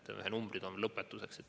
Lõpetuseks esitan mõned numbrid.